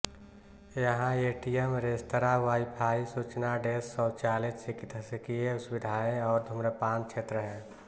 यहाँ ATM restaurant WiFi सूचनाडेस्क शौचालय चिकित्स्कीय सुविधाएँ और धूम्रपान क्षेत्र हैं